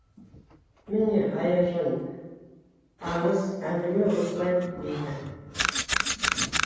міне аяжан аңыз әңгіме осылай дейді